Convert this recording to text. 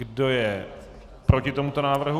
Kdo je proti tomuto návrhu?